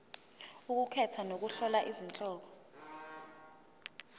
ukukhetha nokuhlola izihloko